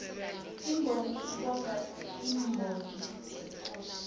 imbongi ibonga iimbongo zekosi